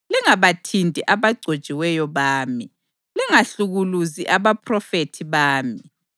“Lingabathinti abagcotshiweyo bami; lingahlukuluzi abaphrofethi bami.”